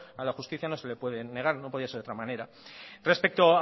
a la justicia no se le puede negar no podía ser de otra manera respecto